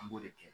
An b'o de kɛ